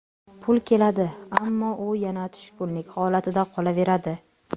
Pul keladi, ammo u yana tushkunlik holatida qolaveradi.